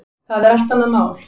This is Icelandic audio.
Það er allt annað mál.